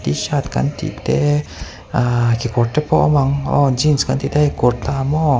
tshirt kan tih te aah kekawr te pawh awm ang aw jeans kan tih te hei kurta maw.